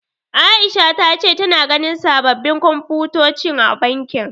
Aisha ta ce tana ganin sababbin Komfutoci a bankin.